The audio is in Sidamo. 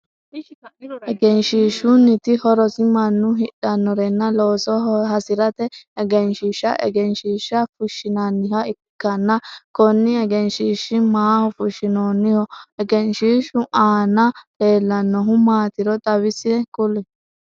Egenshiishunniti horosi mannu hidhanorenna looso hasirate egenshiisha egenshiisha fushinnanniha ikanna konni egenshiisha maaho fushinoonniho? Egenshiishu aanna leelanohu maatiro xawise kuli?